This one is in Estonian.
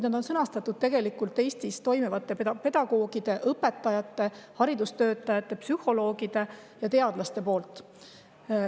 –, vaid on sõnastatud tegelikult Eestis pedagoogide, õpetajate, haridustöötajate, psühholoogide ja teadlaste poolt.